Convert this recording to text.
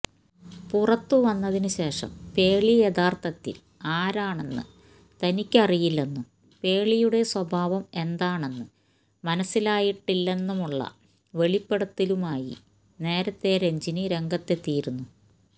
പുറത്തു വന്നതിന് ശേഷം പേളി യഥാര്ത്ഥത്തില് ആരാണെന്ന് തനിക്കറിയില്ലെന്നും പേളിയുടെ സ്വഭാവം എന്താണെന്ന് മനസ്സിലായിട്ടില്ലെന്നുമുള്ള വെളിപ്പെടുത്തലുമായി നേരത്തെ രഞ്ജിനി രംഗത്തെത്തിയിരുന്നു